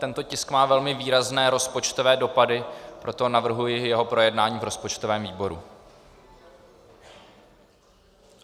Tento tisk má velmi výrazné rozpočtové dopady, proto navrhuji jeho projednání v rozpočtovém výboru.